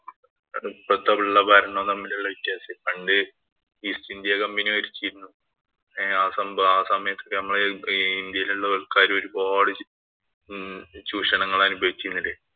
ഇപ്പഴത്തെ ഭരണവും തമ്മിലുള്ള വ്യത്യാസേ. പണ്ട് East India company ഭരിച്ചിരുന്നു. ആ സംഭവം ആ സമയത്ത് ഒക്കെ നമ്മടെ ഇന്ത്യയിലുള്ള ആള്‍ക്കാര് ഒരുപാട് ചൂഷണങ്ങള്‍ അനുഭവിചിരുന്നില്ലേ.